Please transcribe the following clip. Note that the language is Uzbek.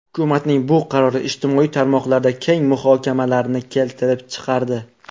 Hukumatning bu qarori ijtimoiy tarmoqlarda keng muhokamalarni keltirib chiqardi.